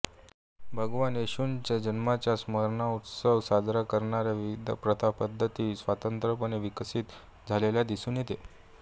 भगवान येशूंच्या जन्माचा स्मरणउत्सव साजरा करण्याचा विविध प्रथापद्धती स्वतंत्रपणे विकसित झाल्याचे दिसून येते